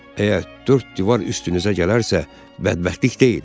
Əgər dörd divar üstünüzə gələrsə, bədbəxtlik deyil.